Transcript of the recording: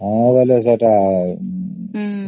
ହଁ